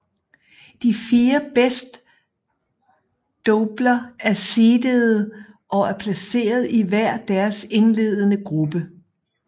De fire bedst doubler er seedede og er placeret i hver deres indledende gruppe